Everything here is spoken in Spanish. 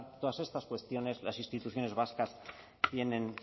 todas estas cuestiones las instituciones vascas tienen